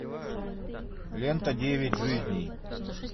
лента девять жизней